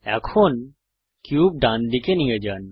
এখন কিউব ডানদিকে নিয়ে যান